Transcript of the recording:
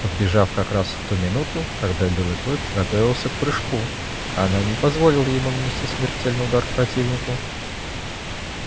подбежав как раз в ту минуту когда белый клык готовился к прыжку она не позволила ему нанести смертельный удар противнику